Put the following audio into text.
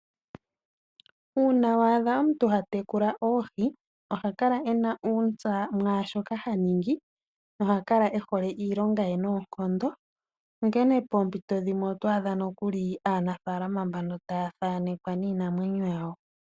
uuna wadha omuntu hatekula oohi ohakala ena uuntsa mwashoka haningi na ohakala ena uuntsa noonkondo, onkene poompito dhimwe oto adha nokuli aanafaalama mbaka taya thanekwa niinamwneyo yawo.